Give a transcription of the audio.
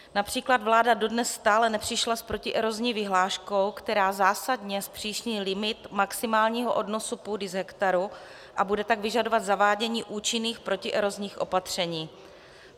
Například vláda dodnes stále nepřišla s protierozní vyhláškou, která zásadně zpřísní limit maximálního odnosu půdy z hektaru, a bude tak vyžadovat zavádění účinných protierozních opatření.